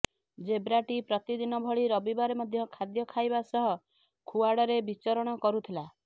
ଜେବ୍ରାଟି ପ୍ରତିଦିନ ଭଳି ରବିବାର ମଧ୍ୟ ଖାଦ୍ୟ ଖାଇବା ସହ ଖୁଆଡ଼ରେ ବିଚରଣ କରୁଥିଲା